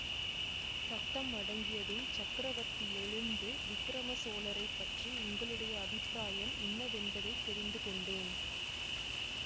சத்தம் அடங்கியதும் சக்கரவர்த்தி எழுந்து விக்கிரம சோழரை பற்றி உங்களுடைய அபிப்பிராயம் இன்னதென்பதைத் தெரிந்து கொண்டேன்